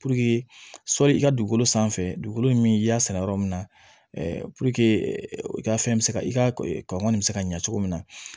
sɔli i ka dugukolo sanfɛ dugukolo min i y'a sɛnɛ yɔrɔ min na i ka fɛn bɛ se ka i ka kɔngɔn nin bɛ se ka ɲa cogo min na